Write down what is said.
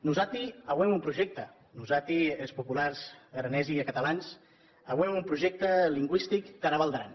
nosati auem un projècte nosati es populars aranesi e catalans auem un projècte lingüistic tara val d’aran